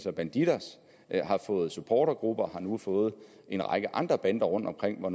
og bandidos har fået supportergrupper har nu fået en række andre bander rundtomkring og